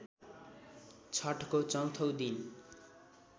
छठको चौथो दिन